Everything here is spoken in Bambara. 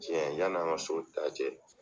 Cɛ yan'an ka soda cɛ